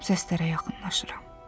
Səslərə yaxınlaşıram.